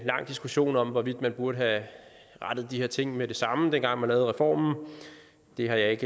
lang diskussion om hvorvidt man burde have rettet de her ting med det samme dengang man lavede reformen det har jeg ikke